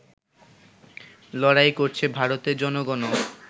লড়াই করছে ভারতের জনগণও